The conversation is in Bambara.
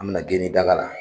An bɛna daga la